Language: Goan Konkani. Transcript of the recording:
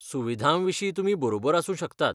सुविधां विशीं तुमी बरोबर आसूं शकतात.